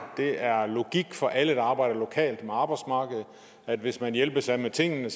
det er logik for alle der arbejder lokalt med arbejdsmarkedet at hvis man hjælpes ad med tingene